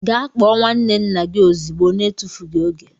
Gee kpoo nwanne nna gi ozigbo na etufughi oge!!!